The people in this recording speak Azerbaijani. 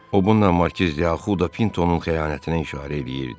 O bununla Markiz Diakhuda Pintonun xəyanətinə işarə eləyirdi.